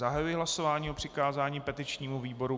Zahajuji hlasování o přikázání petičnímu výboru.